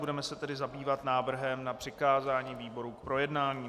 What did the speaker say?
Budeme se tedy zabývat návrhem na přikázání výboru k projednání.